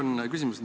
Mul on küsimus.